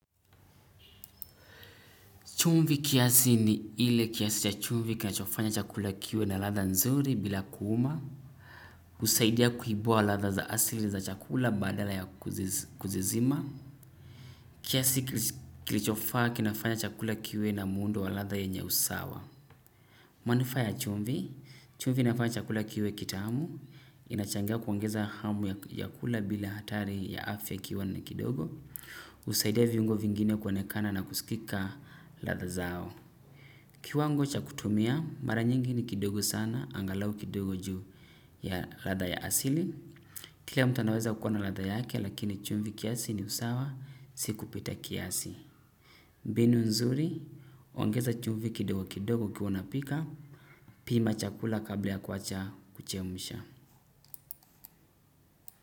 Chumvi kiasi ni ile kiasi cha chumvi kinachofanya chakula kiwe na ladha nzuri bila kuuma. Husaidia kuibua ladha za asili za chakula badala ya kuzizima. Kiasi kilichofaa kinafanya chakula kiwe na muundo wa ladha yenye usawa. Manufaa ya chumvi, chumvi inafanya chakula kiwe kitamu. Inachangia kuongeza hamu ya kula bila hatari ya afya ikiwa ni kidogo. Husaidia viungo vingine kuonekana na kusikika ladha zao. Kiwango cha kutumia, mara nyingi ni kidogo sana, angalau kidogo juu ya ladha ya asili. Kila mtu anaweza kuwa na ladha yake, lakini chumvi kiasi ni usawa, si kupita kiasi. Mbinu nzuri, huongeza chumvi kidogo kidogo ukiwa unapika, pima chakula kabla ya kuwacha kuchemsha.